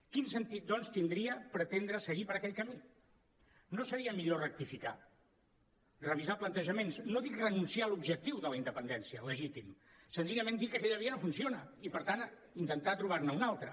quin sentit doncs tindria pretendre seguir per aquell camí no seria millor rectificar revisar plantejaments no dic renunciar a l’objectiu de la independència legítim senzillament dic que aquella via no funciona i per tant intentar trobar ne una altra